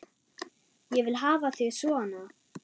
Ég vil hafa þig svona.